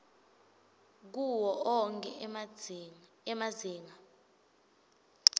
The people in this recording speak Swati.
kuwo onkhe emazinga